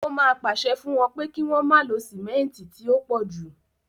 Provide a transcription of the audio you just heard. Ó máa pàṣẹ fún wọn pé kí wọ́n má lo sìmẹ́ǹtì tí ó pọ̀ jù.